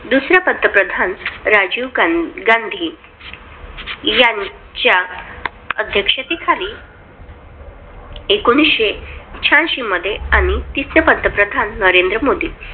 दुसरा पंतप्रधान राजीव गांधी यांच्या अध्येक्षतेखाली एकोणविशे शहाऐंशी मध्ये आणि तिसरा पंतप्रधान नरेंद्र मोदी